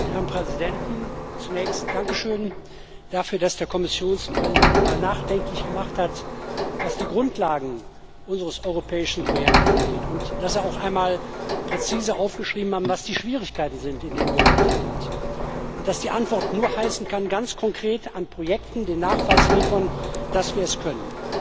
Herr Präsident! Zunächst dankeschön dafür, dass der Kommissionspräsident mal nachdenklich gemacht hat, was die Grundlagen unseres europäischen Projektes angeht, und dass er auch einmal präzise aufgeschrieben hat, was die Schwierigkeiten sind, in denen wir heute sind, und dass die Antwort nur heißen kann, ganz konkret an Projekten den Nachweis zu liefern, dass wir es können.